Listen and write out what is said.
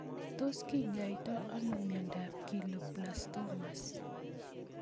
Tos kinyoitoi ano miondop Glioblastomas